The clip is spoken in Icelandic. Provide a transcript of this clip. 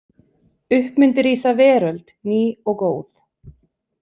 Upp myndi rísa veröld ný og góð.